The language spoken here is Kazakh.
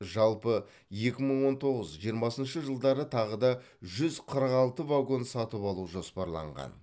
жалпы екі мың он тоғыз жиырмасыншы жылдары тағы да жүз қырық алты вагон сатып алу жоспарланған